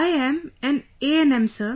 I am an ANM Sir